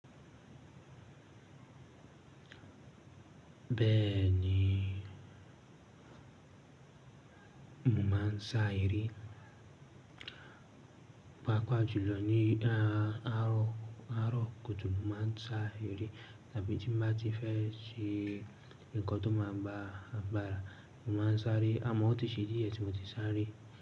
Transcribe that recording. Bẹ́ẹ̀ni, mo máa ń sá eré, pàápàá jùlọ ní àárọ̀ kùtùkù, mo máa ń sá eré tàbí tí mo bá ti fẹ́ ṣe nǹkan tó máa gba àgbárà, mo máa ń sáré àmọ́ ó ti ṣe díẹ̀ tí mo ti sáré.